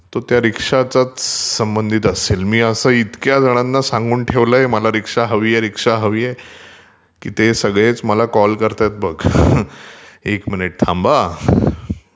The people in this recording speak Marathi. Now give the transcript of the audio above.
तो त्या रीक्षाच्याच संबंधित असेल मी असं इतक्या जणांना सांगून ठेवलयं मला रीक्षा हवीय रीक्षा हवीय...की ते सगळेच मला कॉल करतायत बघ...एक मिनिट थांब हा...